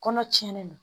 Kɔnɔ tiɲɛnen don